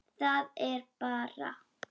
Það er bara.